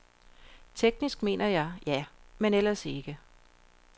Teknisk mener jeg ja, men ellers ikke.